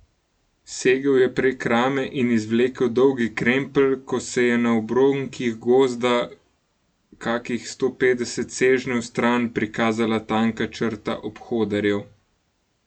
Segel je prek rame in izvlekel Dolgi krempelj, ko se je na obronkih gozda kakih sto petdeset sežnjev stran prikazala tanka črta obhodarjev.